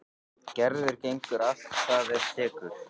Gerður gengur allt hvað af tekur.